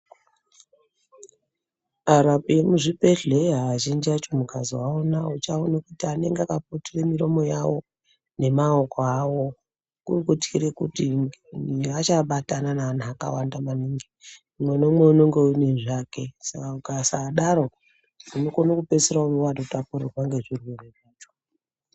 Arapi emuzvibhedhleya azhinji acho mukazoaona muchiaone kuti anenge akaputire miromo yavo nemaoko avo. Kuri kutyire kuti antu achabatana neantu akawanda maningi umwe neumwe unonge aine zvake. Saka ukasadaro unokone kupedzisira vototapurirwa ngezvirwere zvacho.